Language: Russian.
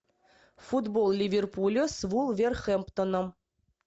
футбол ливерпуля с вулверхэмптоном